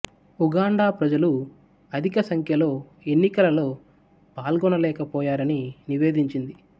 Uganda ప్రజలు అధిక సంఖ్యలో ఎన్నికలలో పాల్గొనలేక పోయారని నివేదించింది